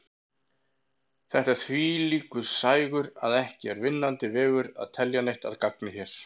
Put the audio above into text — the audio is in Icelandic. Þetta er þvílíkur sægur að ekki er vinnandi vegur að telja neitt að gagni hér.